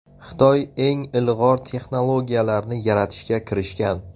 Xitoy eng ilg‘or texnologiyalarni yaratishga kirishgan.